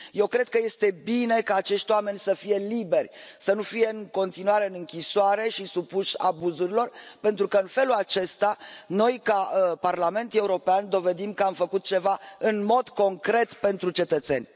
Eu cred că este bine ca acești oameni să fie liberi, să nu fie în continuare în închisoare și supuși abuzurilor, pentru că, în felul acesta, noi, ca Parlament European, dovedim că am făcut ceva în mod concret pentru cetățeni.